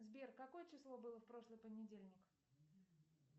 сбер какое число было в прошлый понедельник